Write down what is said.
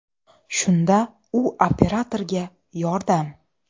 Shunda u operatorga ‘Yordam.